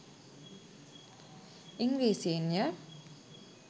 ඉංග්‍රීසීන්ය.